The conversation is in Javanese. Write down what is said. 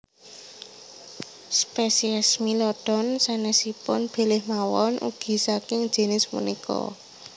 Spesies Smilodon sanesipun bilih mawon ugi saking jinis punika